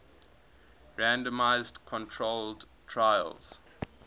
randomized controlled trials